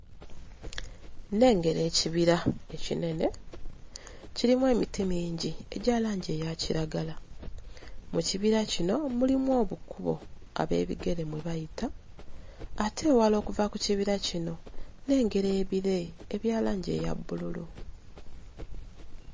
Nnengera ekibira ekinene kirimu emiti mingi egya langi eya kiragala mu kibira kino mulimu obukubo ab'ebigere mwe bayita ate ewala okuva ku kibira kino nnengera ebire ebya langi eya bbululu.